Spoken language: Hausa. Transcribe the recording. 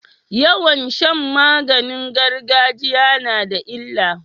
Yawan Shan maganin gargajiya nada illa